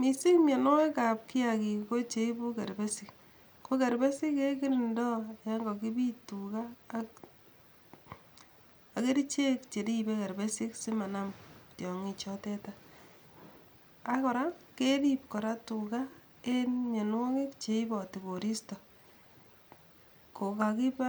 Mising mionwogikab kiagik kocheibu kerbesik, ko kerbesik kekirindo yon kakipit tuga ak kerichek cheribe kerbesik simanam tiongikchoteta, ak kora kerip kora tuga en mionwogik cheiboti koristo kokakiba